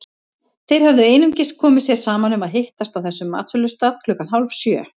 Þeir höfðu einungis komið sér saman um að hittast á þessum matsölustað klukkan hálfsjö.